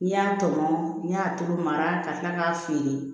N'i y'a tɔmɔ n'i y'a tulu mara ka tila k'a feere